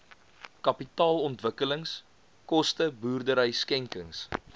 kapitaalontwikkelingskoste boerdery skenkings